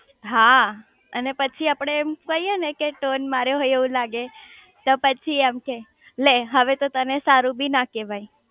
હા અને પછી આપડે એમ કહીયે ને કે ટોન માર્યો એવું લાગે તો પછી એમ કે લે હવે તો તને સારું બી ના કેવાય